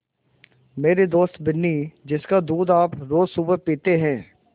मेरी दोस्त बिन्नी जिसका दूध आप रोज़ सुबह पीते हैं